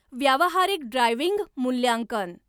व्यावहारिक ड्रायव्हिंग मूल्यांकन